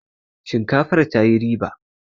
shinkafar ta yi riba!